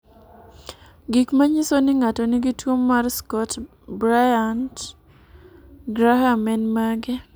Gik manyiso ni ng'ato nigi tuwo mar Scott Bryant Graham en mage?